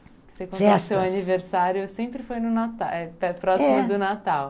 Festas. O seu aniversário sempre foi próximo do Natal? É.